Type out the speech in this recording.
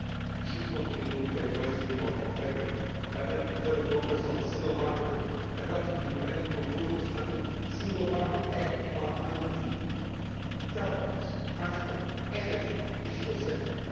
today. We should continue to look at ways to be more competitive by making further progress on the single market and adopting the remaining proposals under Single Market Act I and II, in telecoms, transport, energy and the digital